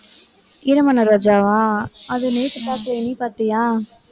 ஈரமான ரோஜாவா? அது நேத்து பார்த்தேன், நீ பார்த்தியா?